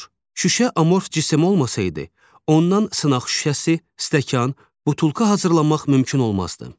Şüşə amorf cisim olmasaydı, ondan sınaq şüşəsi, stəkan, butulka hazırlamaq mümkün olmazdı.